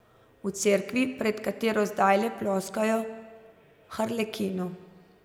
V cerkvi, pred katero zdajle ploskajo harlekinu.